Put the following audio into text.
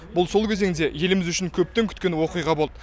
бұл сол кезеңде еліміз үшін көптен күткен оқиға болды